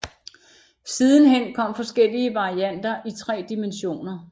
Sidenhen kom forskellige varianter i tre dimensioner